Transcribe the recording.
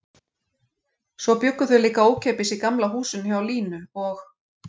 Svo bjuggu þau líka ókeypis í Gamla húsinu hjá Línu og